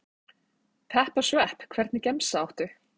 Pepp og svepp Hvernig gemsa áttu?